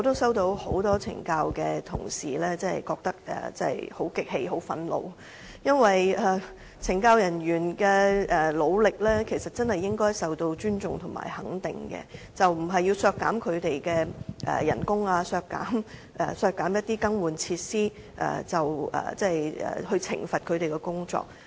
有很多懲教署同事向我反映，他們感到很不忿、很憤怒，因為懲教人員的努力，應該受到尊重和肯定，而不應通過削減他們的薪酬、削減更換設施的預算開支來懲罰他們。